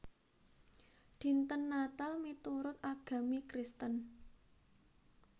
Dinten Natal miturut agami Kristen